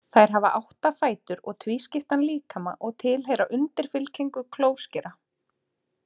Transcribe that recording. Þær hafa átta fætur og tvískiptan líkama og tilheyra undirfylkingu klóskera.